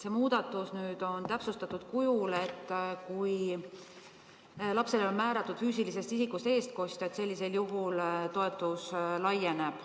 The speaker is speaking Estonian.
See muudatus nüüd on täpsustatud kujul, et kui lapsele on määratud füüsilisest isikust eestkostja, siis sellisel juhul toetus laieneb.